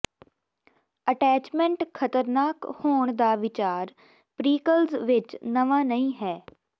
attachment ਖਤਰਨਾਕ ਹੋਣ ਦਾ ਵਿਚਾਰ ਪ੍ਰੀਕਲਜ਼ ਵਿਚ ਨਵਾਂ ਨਹੀਂ ਹੈ